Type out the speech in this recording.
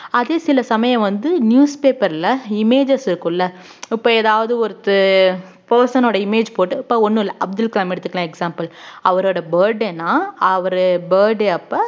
அதே சில சமயம் வந்து newspaper ல images இருக்கும்ல இப்ப ஏதாவது ஒருத்து person ஓட image போட்டு இப்ப ஒண்ணும் இல்ல அப்துல் கலாம் எடுத்துக்கலாம் example அவரோட birthday ன்னா அவரு birthday அப்ப